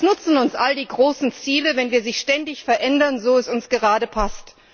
Was nutzen uns all die großen Ziele, wenn wir sie ständig verändern, so es uns gerade passt?